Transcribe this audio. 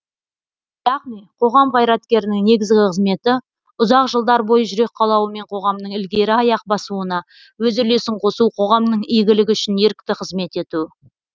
яғни қоғам қайраткерінің негізгі қызметі ұзақ жылдар бойы жүрек қалауымен қоғамның ілгері аяқ басуына өз үлесін қосу қоғамның игілігі үшін ерікті қызмет ету